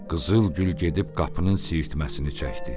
Qızıl Gül gedib qapının siirtməsini çəkdi.